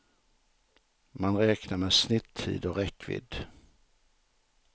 Man räknar med snittid och räckvidd.